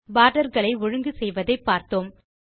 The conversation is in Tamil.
போர்டர் களை ஒழுங்கு செய்வதை பார்த்தோம்